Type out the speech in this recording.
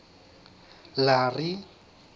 larry